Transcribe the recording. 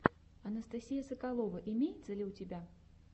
анастасия соколова имеется ли у тебя